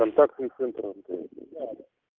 контактный центр мтс